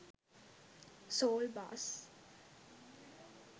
saul bass